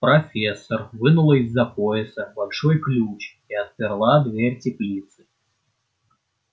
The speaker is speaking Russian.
профессор вынула из-за пояса большой ключ и отперла дверь теплицы